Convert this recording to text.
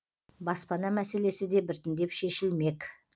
баспана мәселесі де біртіндеп шешілмек